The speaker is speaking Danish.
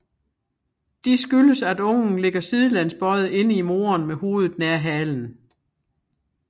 De skyldes at ungen ligger sidelæns bøjet inde i moderen med hovedet nær halen